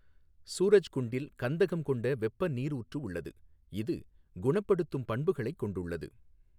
சூரஜ்குண்டில் கந்தகம் கொண்ட வெப்ப நீரூற்று உள்ளது, இது குணப்படுத்தும் பண்புகளைக் கொண்டுள்ளது.